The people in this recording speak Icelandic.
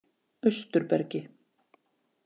Austurbergi